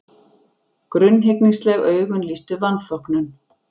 Grunnhyggnisleg augun lýstu vanþóknun.